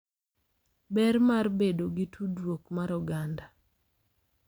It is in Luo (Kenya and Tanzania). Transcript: Ber mar bedo gi tudruok mar oganda